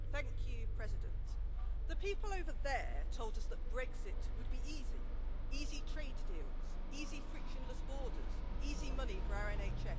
Madam President, the people over there told us that Brexit would be easy easy trade deals, easy frictionless borders, easy money for our NHS.